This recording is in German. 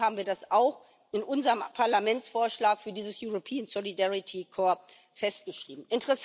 Und deswegen haben wir das auch in unserem Parlamentsvorschlag für dieses Europäische Solidaritätskorps festgeschrieben.